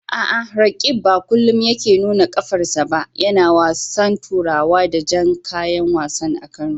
A'a, Roqeeb ba kullum yake nuna qafarsa ba yana wasan turawa da jan kayan wasa a Kano.